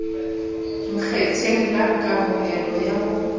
nkgetheng la kamohelo ya ho